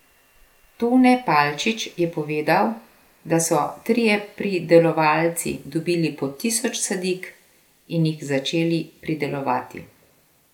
Tone Palčič je povedal, da so trije pridelovalci dobili po tisoč sadik in jih začeli pridelovati.